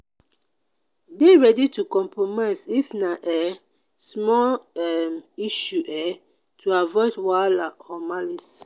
de ready to compromise if na um small um issue um to avoid wahala or malice